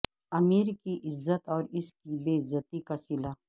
امیر کی عزت اور اس کی بے عزتی کا صلہ